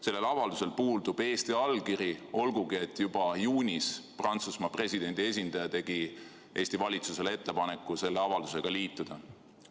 Sellel avaldusel puudub Eesti allkiri, olgugi et juba juunis Prantsusmaa presidendi esindaja tegi Eesti valitsusele ettepaneku selle avaldusega liituda.